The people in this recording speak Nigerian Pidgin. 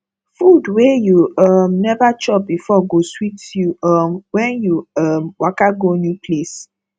food wey you um never chop before go sweet you um when you um waka go new place